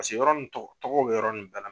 Paseke yɔrɔ nun tɔgɔ tɔgɔw bɛ yɔrɔ nun bɛɛ la.